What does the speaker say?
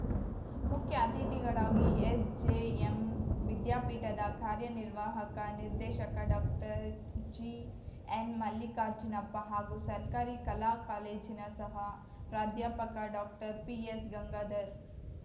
ಮುಖ್ಯ ಅತಿಥಿಗಳಾಗಿ ಎಸ್‌ಜೆಎಂ ವಿದ್ಯಾಪೀಠದ ಕಾರ್ಯನಿರ್ವಾಹಕ ನಿರ್ದೇಶಕ ಡಾಕ್ಟರ್ಜಿಎನ್‌ಮಲ್ಲಿಕಾರ್ಜುನಪ್ಪ ಹಾಗೂ ಸರ್ಕಾರಿ ಕಲಾ ಕಾಲೇಜಿನ ಸಹ ಪ್ರಧ್ಯಾಪಕ ಡಾಕ್ಟರ್ಪಿಎಸ್‌ಗಂಗಾಧರ್‌